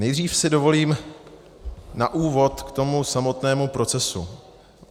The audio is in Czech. Nejdřív si dovolím na úvod k tomu samotnému procesu.